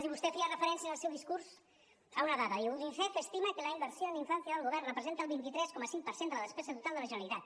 i vostè feia referència en el seu discurs a una dada diu unicef estima que la inversió en infància del govern representa el vint tres coma cinc per cent de la despesa total de la generalitat